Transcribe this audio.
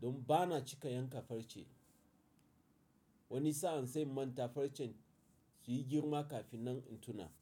Don ba na cika yanka farce. Wani sa'an sai manta farcen suyi girma kafin nan intuna.